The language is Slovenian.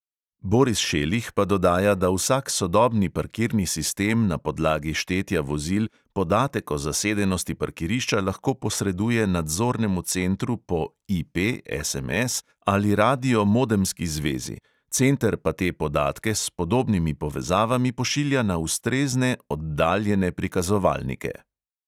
Boris šelih pa dodaja, da vsak sodobni parkirni sistem na podlagi štetja vozil podatek o zasedenosti parkirišča lahko posreduje nadzornemu centru po IP, SMS ali radio-modemski zvezi, center pa te podatke s podobnimi povezavami pošilja na ustrezne oddaljene prikazovalnike.